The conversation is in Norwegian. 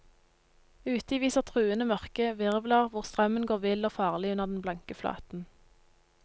Uti viser truende mørke virvler hvor strømmen går vill og farlig under den blanke flaten.